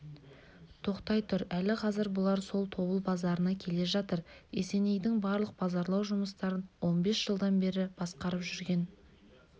тоқтай тұр әлі қазір бұлар сол тобыл базарына келе жатыр есенейдің барлық базарлау жұмыстарын он бес жылдан бері басқарып жүрген